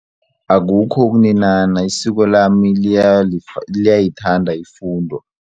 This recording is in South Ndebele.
Akukho ukuninana isiko lami liyayithanda ifundo.